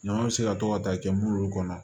Ɲama bɛ se ka to ka ta kɛ mulu kɔnɔ